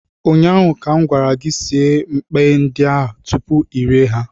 ụnyaahụ ka m gwara gị, sie mkpay ndị a tupu I rie ha